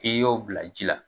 K'i y'o bila ji la.